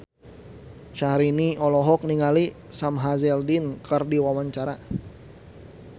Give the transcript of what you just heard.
Syahrini olohok ningali Sam Hazeldine keur diwawancara